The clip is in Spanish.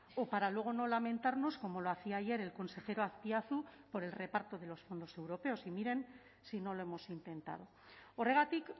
o para luego no lamentarnos como lo hacía ayer el consejero azpiazu por el reparto de los fondos europeos y miren si no lo hemos intentado horregatik